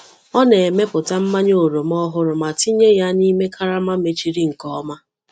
Ọ na-emepụta mmanya oroma ọhụrụ ma tinye ya n’ime karama mechiri nke ọma.